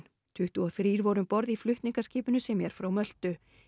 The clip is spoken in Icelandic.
tuttugu og þrír voru um borð í flutningaskipinu sem er frá Möltu